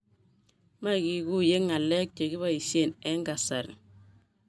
Maiguguiye ngalek chegiboishen eng kasari